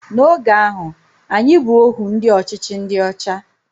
N'oge ahụ, anyị bụ ohu ndị ọchịchị ndị ọcha